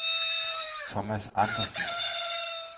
Thomas Andersson